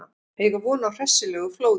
Eiga von á hressilegu flóði